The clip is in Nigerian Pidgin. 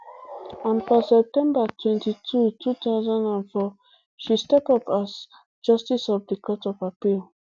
and for september twenty-two two thousand and four she step up as up as justice of the court of appeal